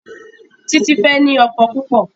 Titi fè ní ọkọ púpọ.